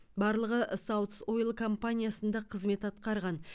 барлығы саутс ойл компаниясында қызмет атқарған